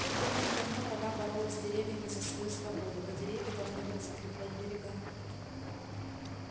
тут давным-давно вода боролась с деревьями за свою свободу а деревья должны были закреплять берега